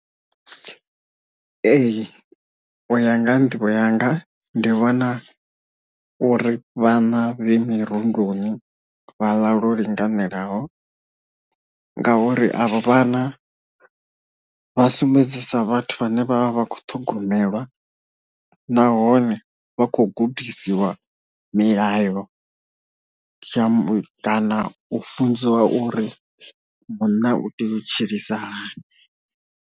Ee u ya nga ha nḓivho yanga ndi vhona uri vhana vhe mirundoni vha ḽa lwo linganelaho, ngauri avha vhana vhasumbedzisa vhathu vhane vha vha vha kho ṱhogomelwa nahone vha khou gudisiwa milayo jump kana u funziwa uri munna u tea u tshilisa hani.